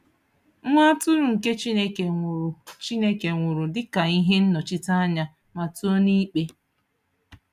Nwa Atụrụ nke Chineke nwụrụ Chineke nwụrụ dịka ihe nnọchiteanya Matiu n'Ikpe.